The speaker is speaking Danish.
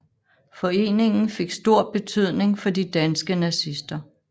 Foreningen fik stor betydning for de danske nazister